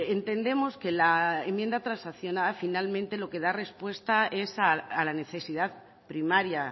entendemos que la enmienda transaccionada finalmente lo que da respuesta es a la necesidad primaria